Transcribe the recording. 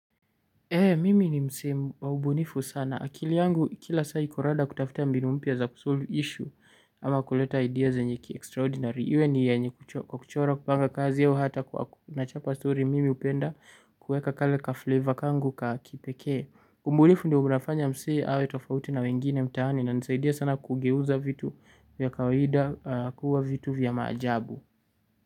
Mimi ni msee wa ubunifu sana. Akili yangu kila saa iko rada kutafuta mbinu mpya za kusolve issue ama kuleta ideas zenye ki extraordinary. Iwe ni yenye kuchora, kupanga kazi au hata kwa nachapa stori mimi hupenda kuweka kale ka flavor kangu ka kipekee. Ubunifu ndio unafanya msee awe tofauti na wengine mtaani. Inanisaidia sana kugeuza vitu vya kawaida kuwa vitu vya maajabu.